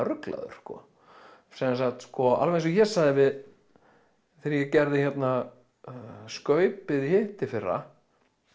ruglaður sko sem sagt alveg eins og ég sagði þegar ég gerði skaupið í hitteðfyrra